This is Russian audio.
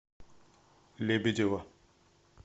лебедева